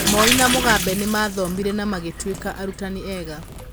Moi na Mugabe nĩ maathomire na magĩtuĩka arutani ega.